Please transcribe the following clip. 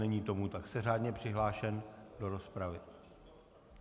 Není tomu tak, jste řádně přihlášen do rozpravy.